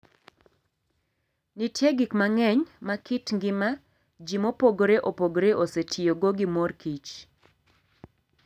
Nitie gik mang'eny ma kit ngima ji mopogore opogore osetiyogo gi mor kich.